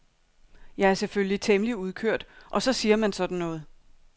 Jeg er selvfølgelig temmelig udkørt og så siger man sådan noget.